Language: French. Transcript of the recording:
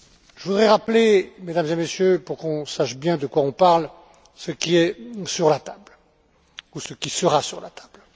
Je voudrais rappeler, Mesdames et Messieurs, pour qu'on sache bien de quoi on parle, ce qui est ou ce qui sera sur la table.